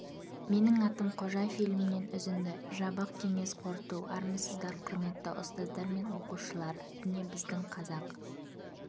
менің атым қожа фильмінен үзінді жабық кеңес қорыту армысыздар құрметті ұстаздар мен оқушылар міне біздің қазақ